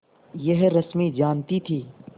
यह रश्मि जानती थी